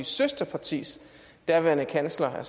søsterpartis daværende kansler